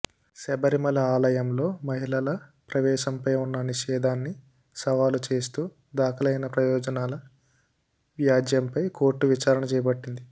శబరిమల ఆలయంలో మహిళల ప్రవేశంపై ఉన్న నిషేధాన్ని సవాలు చేస్తూ దాఖలైన ప్రజాప్రయోజనాల వ్యాజ్యంపై కోర్టు విచారణ చేపట్టింది